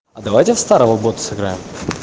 а давайте в старого гота сыграем